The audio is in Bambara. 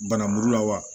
Banamugu la wa